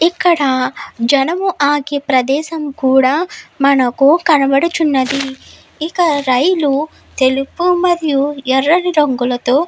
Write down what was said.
ఇక్కడ జనం ఆగి ప్రదేశం కూడా మనకు కనబడుచున్నది ఇక రైలు తెలుపు మరియు ఎర్రని రంగులతో --